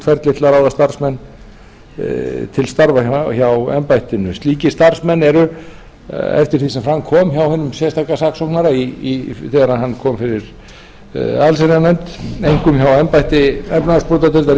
ferli til að ráða starfsmenn til starfa hjá embættinu slíkir starfsmenn eru eftir því sem fram kom hjá hinum sérstaka saksóknara þegar hann kom fyrir allsherjarnefnd einkum hjá embætti efnahagsbrotadeildar ríkislögreglustjóra